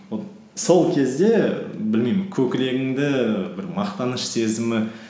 вот сол кезде білмеймін көкірегімді бір мақтаныш сезімі